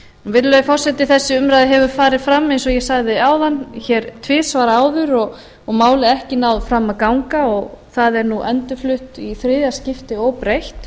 virðulegi forseti þessi umræða hefur farið fram eins og ég sagði áðan hér tvisvar áður og málið ekki náð fram að ganga og það er nú endurflutt í þriðja skipti óbreytt